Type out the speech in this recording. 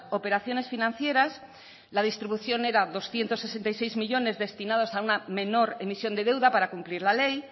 operaciones financieras la distribución era doscientos sesenta y seis millónes destinados a una menor emisión de deuda para cumplir la ley